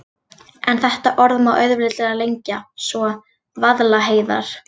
En þetta orð má auðveldlega lengja svo: Vaðlaheiðar.